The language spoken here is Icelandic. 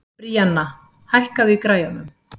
Bríanna, hækkaðu í græjunum.